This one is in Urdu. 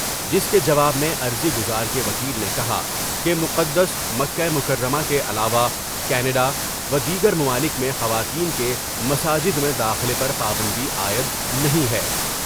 جس کے جواب میں عرضی گزار کے وکیل نے کہا کہ مقدس مکہ مکرمہ کے علاوہ کینڈا ، ودیگر ممالک میں خواتین کے مساجد میں داخلے پر پابندی عائد نہیں ہے ۔